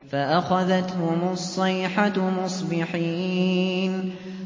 فَأَخَذَتْهُمُ الصَّيْحَةُ مُصْبِحِينَ